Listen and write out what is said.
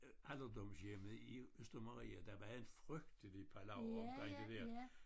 Alderdomshjemmet i Østermarie der var en frygtelig palaver omkring det der